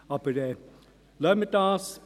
Aber lassen wir das.